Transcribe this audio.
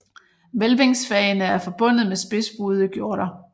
Hvælvingsfagene er forbundet med spidsbuede gjorder